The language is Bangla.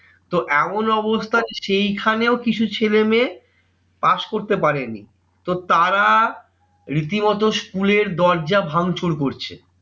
তো এমন অবস্থা যে সেইখানেও কিছু ছেলেমেয়ে pass করতে পারেনি। তো তারা রীতিমতো school এর দরজা ভাঙচুর করছে।